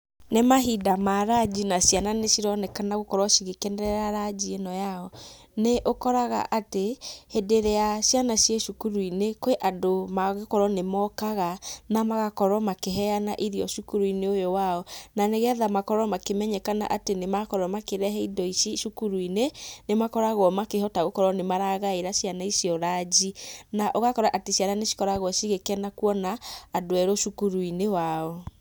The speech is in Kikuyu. Nĩ mahinda ma ranji na ciana nĩcironekana gũkorwo cigĩkenerera ranji ĩno yao. Nĩũkoraga atĩ, hĩndĩ ĩrĩa ciana ciĩ cukuruinĩ, kwĩ andũ magũkorwo nĩmokaga, namagakorwo makĩheana irio cukuruinĩ ũyũ wao, nanĩgetha makorwo makĩmenyekana atĩ nĩmakorwo makĩrehe indo ici cukuruinĩ, nĩmakoragwo makĩhota gũkorwo makĩhota gũkorwo nĩmaragaĩra ciana icio ranji. Na ũgakora atĩ ciana nĩcikoragwo cigĩkena kuona andũ erũ cukuruinĩ wao.